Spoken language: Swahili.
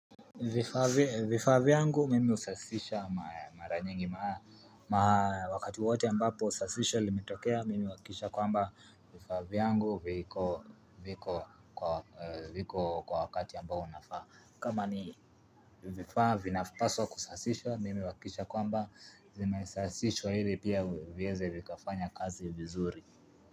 Vifaa vyangu mimi husafisha mara nyingi wakati wote ambapo sasisho limitokea ya kwamba vifaa vyangu viko kwa wakati ambao unafaa kama ni vifaa vinapaswa kusafisha mimi huakikisha kwamba zimesasishwa hili pia vieze kufanya kazi vizuri.